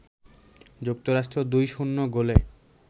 যুক্তরাষ্ট্র ২-০ গোলে